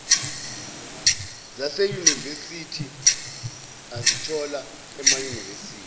zaseyunivesithi azithola emayunivesithi